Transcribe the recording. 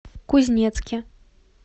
кузнецке